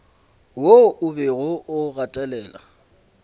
wo o bego o gatelela